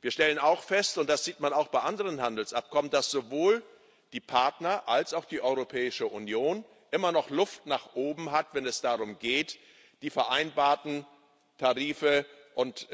Wir stellen auch fest und das sieht man auch bei anderen Handelsabkommen dass sowohl die Partner als auch die Europäische Union immer noch Luft nach oben haben, wenn es darum geht, die vereinbarten Tarife und